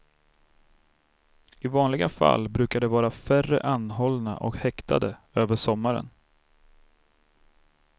I vanliga fall brukar det vara färre anhållna och häktade över sommaren.